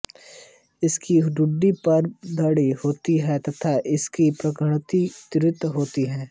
इसकी ठुड्डी पर दाढ़ी होती है तथा इसकी घ्राणशक्ति तीव्र होती है